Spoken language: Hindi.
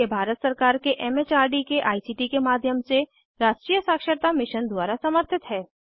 यह भारत सरकार के एम एच आर डी के आई सी टी के माध्यम से राष्ट्रीय साक्षरता मिशन द्वारा समर्थित है